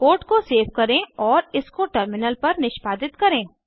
code को save करें और इसको टर्मिनल पर निष्पादित करें